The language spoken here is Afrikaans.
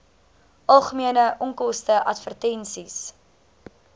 algemene onkoste advertensies